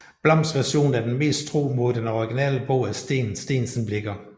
Bloms version er den mest tro mod den originale bog af Steen Steensen Blicher